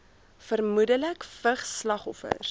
vermoedelik vigs slagoffers